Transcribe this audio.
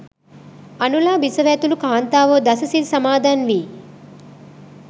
අනුලා බිසව ඇතුළු කාන්තාවෝ දස සිල් සමාදන් වී